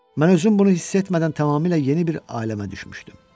Mən özüm bunu hiss etmədən tamamilə yeni bir aləmə düşmüşdüm.